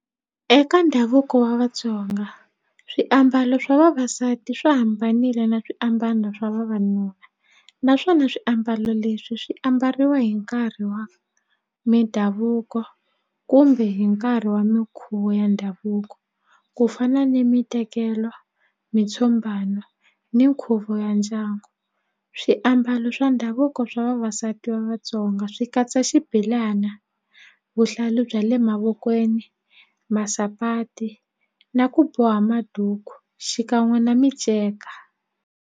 Eka ndhavuko wa Vatsonga swiambalo swa vavasati swi hambanile na swiambalo swa vavanuna naswona swiambalo leswi swi ambariwa hi nkarhi wa mindhavuko kumbe hi nkarhi wa minkhuvo ya ndhavuko ku fana ni mitekelo mitshumbana ni nkhuvo ya ndyangu swiambalo swa ndhavuko swa vavasati va Vatsonga swi katsa xibelana vuhlalu bya le mavokweni masapati na ku boha maduku xikan'we na miceka.